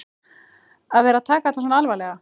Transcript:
Að vera að taka þetta svona alvarlega.